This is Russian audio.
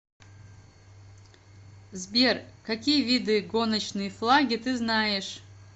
сбер какие виды гоночные флаги ты знаешь